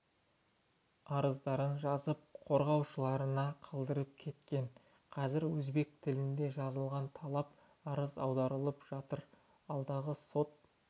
арыздарын жазып қорғаушыларына қалдырып кеткен қазір өзбек тілінде жазылған талап арыз аударылып жатыр алдағы сот